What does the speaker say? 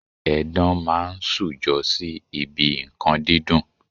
Edan máa ń ṣujọ sí ibi nǹkan dídùn.